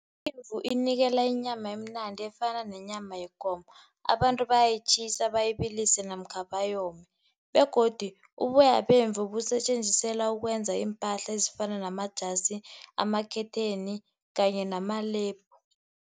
Imvu inikela inyama imnandi efana nenyama yekomo, abantu bayayitjhisa bayibilise namkha bayome. Begodu uboya bemvu busetjenziselwa ukwenza iimpahla ezifana namajasi ama-curtain, kanye